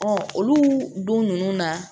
olu don ninnu na